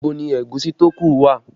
Ibo ni ẹ̀gúsí tó ku wà?